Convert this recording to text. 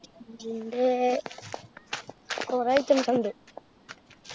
ന്‍ടെ~ കൊറേ items ഇണ്ട്.